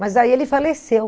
Mas aí ele faleceu.